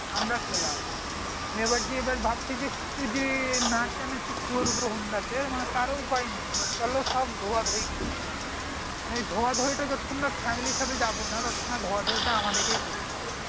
আমার খেলাম এবার যে আবার ভাবছি যে একটু যে নাচা নাচি করবো honda তে তার কোনো উপায় নেই চলো সব ধোয়া ধোয়ী করতে ধোয়া ধোয়ী টা যতক্ষণ family র সাথে যাবো না ততক্ষন ধোয়াধুয়ি টা আমাদেরকেই করতে হবে